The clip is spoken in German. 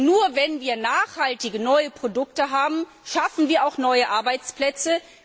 Denn nur, wenn wir nachhaltige neue Produkte haben, schaffen wir auch neue Arbeitsplätze.